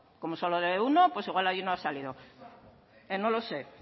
como solo lee uno pues igual allí no ha salido no lo sé